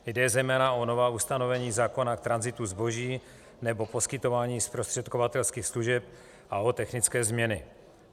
Jde zejména o nová ustanovení zákona k tranzitu zboží nebo poskytování zprostředkovatelských služeb a o technické změny.